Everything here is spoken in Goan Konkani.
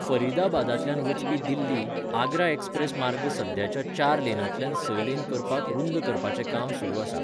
फरीदाबादांतल्यान वचपी दिल्ली, आगरा एक्सप्रेस मार्ग सद्याच्या चार लेनांतल्यान स लेन करपाक रुंद करपाचें काम सुरू आसा.